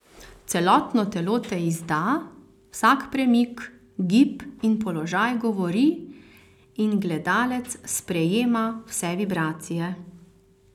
Celotno telo te izdaja, vsak premik, gib in položaj govori in gledalec sprejema vse vibracije.